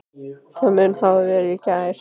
Það mun hafa verið í gær.